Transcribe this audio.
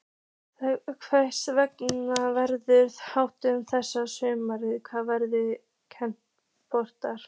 Hvernig verður þessu háttað næsta sumar hvað varðar kvennabolta?